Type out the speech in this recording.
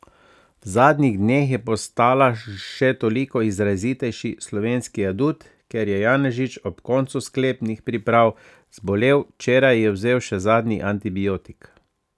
V zadnjih dneh je postala še toliko izrazitejši slovenski adut, ker je Janežič ob koncu sklepnih priprav zbolel, včeraj je vzel še zadnji antibiotik.